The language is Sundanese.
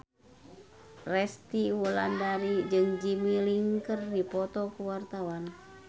Resty Wulandari jeung Jimmy Lin keur dipoto ku wartawan